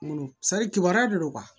N bolo kibaruya de don